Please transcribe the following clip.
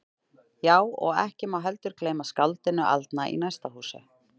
Já, og ekki má heldur gleyma skáldinu aldna í næsta húsi.